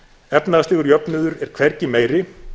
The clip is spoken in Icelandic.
efnahagslegur jöfnuður er hvergi meiri